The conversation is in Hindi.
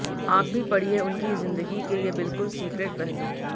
आप भी पढ़िए उनकी ज़िंदगी के ये बिलकुल सीक्रेट पहलू